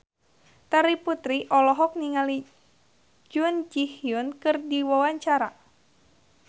Terry Putri olohok ningali Jun Ji Hyun keur diwawancara